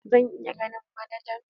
Zan iya ganin manajan?